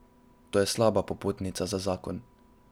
To je slaba popotnica za zakon.